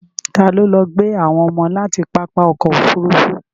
Ta ló lọ gbé àwọn ọmọ láti pápá ọkọ̀ Òfurufú?